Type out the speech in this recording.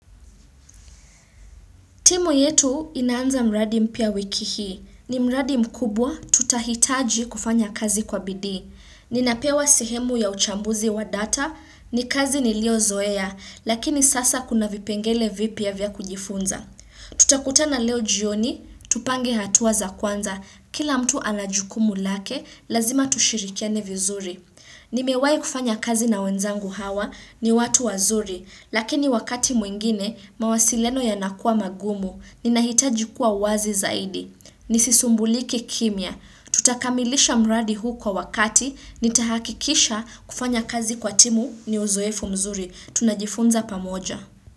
Timu yetu inaanza mradi mpya wiki hii. Ni mradi mkubwa, tutahitaji kufanya kazi kwa bidii. Ninapewa sehemu ya uchambuzi wa data, ni kazi niliyo zoea, lakini sasa kuna vipengele vipya vya kujifunza. Tutakutana leo jioni, tupange hatua za kwanza, kila mtu ana jukumu lake, lazima tushirikiane vizuri. Nimewai kufanya kazi na wenzangu hawa ni watu wazuri, lakini wakati mwingine, mawasiliano yanakuwa magumu, ninahitaji kuwa wazi zaidi. Nisisumbulike kimya. Tutakamilisha mradi huu kwa wakati, nitahakikisha kufanya kazi kwa timu ni uzoefu mzuri. Tunajifunza pamoja.